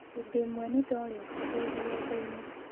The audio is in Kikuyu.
Hĩndĩ ĩmwe nĩ ndorĩtĩ ndĩ rũgendo-inĩ.